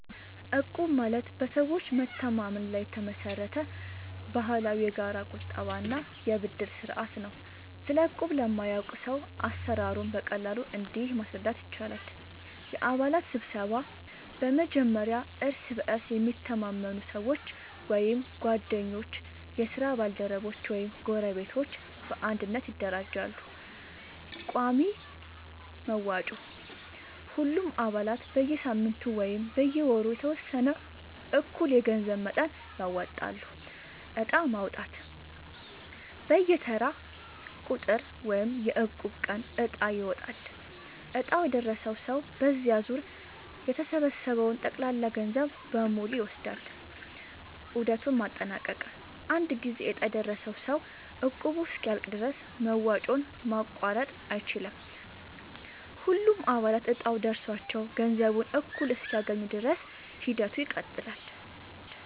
እቁብ ማለት በሰዎች መተማመን ላይ የተመሰረተ ባህላዊ የጋራ ቁጠባ እና የብድር ስርዓት ነው። ስለ እቁብ ለማያውቅ ሰው አሰራሩን በቀላሉ እንዲህ ማስረዳት ይቻላል፦ የአባላት ስብስብ፦ በመጀመሪያ እርስ በእርስ የሚተማመኑ ሰዎች (ጓደኞች፣ የስራ ባልደረቦች ወይም ጎረቤቶች) በአንድነት ይደራጃሉ። ቋሚ መዋጮ፦ ሁሉም አባላት በየሳምንቱ ወይም በየወሩ የተወሰነ እኩል የገንዘብ መጠን ያወጣሉ። ዕጣ ማውጣት፦ በየተራው ቁጥር (የእቁብ ቀን) ዕጣ ይጣላል፤ ዕጣው የደረሰው ሰው በዚያ ዙር የተሰበሰበውን ጠቅላላ ገንዘብ በሙሉ ይወስዳል። ዑደቱን ማጠናቀቅ፦ አንድ ጊዜ ዕጣ የደረሰው ሰው እቁቡ እስኪያልቅ ድረስ መዋጮውን ማቋረጥ አይችልም። ሁሉም አባላት እጣው ደርሷቸው ገንዘቡን እኩል እስኪያገኙ ድረስ ሂደቱ ይቀጥላል።